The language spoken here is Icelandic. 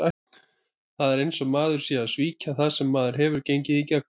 Það er eins og maður sé að svíkja það sem maður hefur gengið í gegnum.